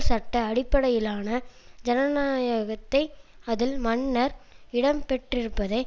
சட்ட அடிப்படையிலான ஜனநாயகத்தை அதில் மன்னர் இடம் பெற்றிருப்பதை